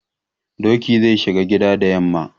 Doki zai shiga gida da yamma.